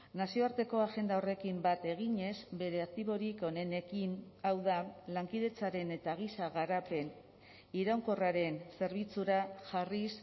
nazioarteko agenda horrekin bat eginez bere aktiborik onenekin hau da lankidetzaren eta giza garapen iraunkorraren zerbitzura jarriz